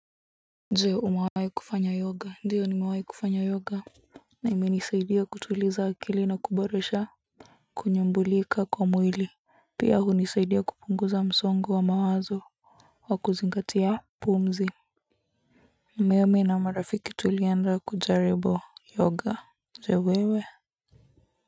Je, umewahi kufanya yoga? Ndiyo, nimewahi kufanya yoga. Na imenisaidia kutuliza akili na kuboresha kunyumbulika kwa mwili. Pia hunisaidia kupunguza msongo wa mawazo, wa kuzingatia pumzi. Mimi na marafiki tulienda kujaribu yoga. Je wewe?